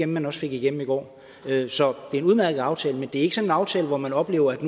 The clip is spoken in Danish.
man også fik igennem i går så det er en udmærket aftale men det er ikke sådan en aftale hvor man oplever at